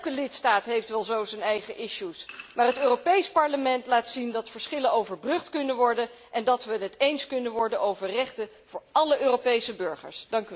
Elke lidstaat heeft wel zo zijn eigen issues maar het Europees Parlement laat zien dat verschillen overbrugd kunnen worden en dat we het eens kunnen worden over rechten voor alle Europese burgers.